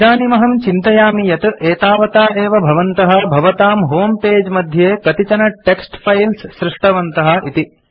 इदानीम् अहं चिन्तयामि यत् एतावता एव भवन्तः भवतां होमे पगे मध्ये कतिचन टेक्स्ट् फाइल्स् सृष्टवन्तः इति